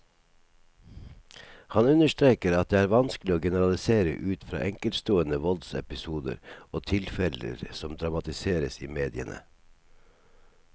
Han understreker at det vanskelig å generalisere ut fra enkeltstående voldsepisoder og tilfeller som dramatiseres i mediene.